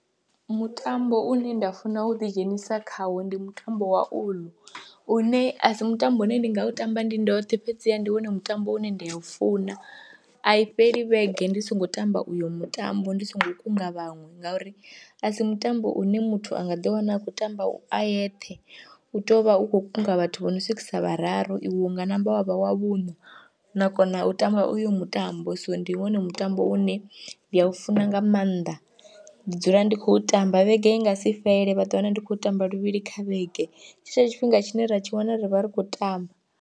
Mutambo une nda funa u ḓidzhenisa khawo ndi mutambo wa uḽu une a si mutambo une ndi nga u tamba ndi ndoṱhe fhedziha ndi wone mutambo une nda u funa, a i fheli vhege ndi songo tamba uyo mutambo ndi songo kunga vhaṅwe ngauri a si mutambo une muthu a nga ḓiwana a khou tamba u a yeṱhe, u tou vha u khou kunga vhathu vho no swikisa vhararu iwe hu nga namba wa vha wa vhuṋa na kona u tamba uyo mutambo, so ndi iṅwe hone mutambo une nda u funa nga maanḓa, ndi dzula ndi khou tamba vhege i nga si fhele vha ḓiwana ndi khou tamba luvhili kha vhege tshetsho tshifhinga tshine ra tshi wana ri vha ri khou tamba.